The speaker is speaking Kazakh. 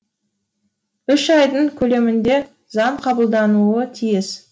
ұш айдың көлемінде заң қабылдануы тиіс